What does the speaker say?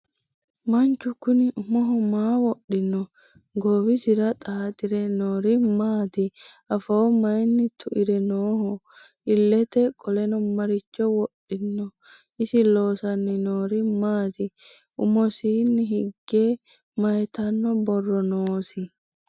Manchu kunni umoho maa wodhinno? Goowisera xaaxxire noori maatti? Affo mayiinni tuire nooho? iillette qole maricho wodhinno ? Isi loosanni noori maatti? Umosiinni higge mayiittanno borro noosi?